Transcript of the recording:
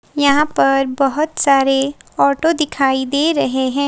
यहां पर बहोत सारे ऑटो दिखाई दे रहे हैं।